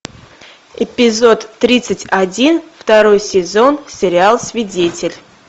эпизод тридцать один второй сезон сериал свидетель